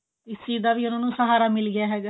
ਇਸ ਚੀਜ ਦਾ ਵੀ ਉਹਨਾਂ ਨੂੰ ਸਹਾਰਾ ਮਿਲ ਗਿਆ ਹੈਗਾ